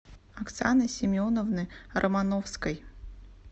оксаны семеновны романовской